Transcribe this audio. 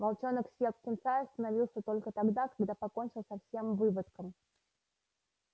волчонок съел птенца и остановился только тогда когда покончил со всем выводком